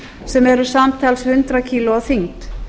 sem eru samtals hundrað kílógrömm að þyngd